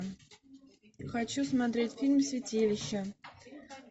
хочу смотреть фильм святилище